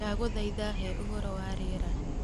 Ndagũthaitha he ũhoro wa rĩera